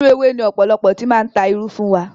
Inú ewé ni ọ̀pọ̀lọpọ̀ ti máa ń ta irú fún wa.